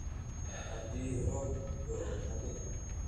Haddii roob da'o, ha bixin.